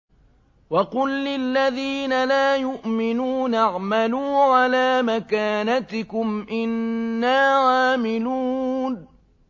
وَقُل لِّلَّذِينَ لَا يُؤْمِنُونَ اعْمَلُوا عَلَىٰ مَكَانَتِكُمْ إِنَّا عَامِلُونَ